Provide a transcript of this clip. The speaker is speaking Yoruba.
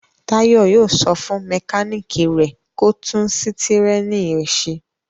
Táyọ̀ yóò sọ fún mẹkáníkì rẹ̀ kó tún sítẹ́rínì rẹ̀ ṣe.